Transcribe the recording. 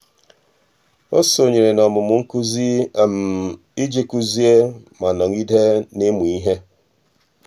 ọ́ sònyèrè n’ọ́mụ́mụ́ nkuzi iji um kụ́zị́é ma nọ́gídé n’ị́mụ́ ihe.